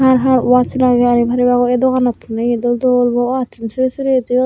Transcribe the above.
har har watch lagey ani paribagoi ae doganottun ye dol dol bo waszun sorey sorey toyonney.